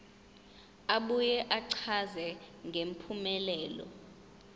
abuye achaze ngempumelelo